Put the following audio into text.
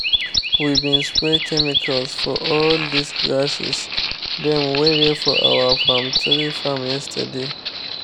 we bin spray chemicals for all dis grasses dem wey dey for our palm tree farm yesterday.